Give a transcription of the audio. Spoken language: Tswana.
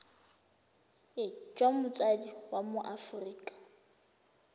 jwa motsadi wa mo aforika